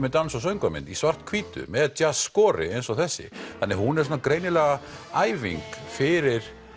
er dans og söngvamynd í svarthvítu með skori eins og þessi þannig að hún er greinilega æfing fyrir